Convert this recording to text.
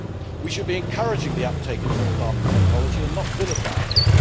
We should be encouraging the uptake of new farming technology and not vilifying it.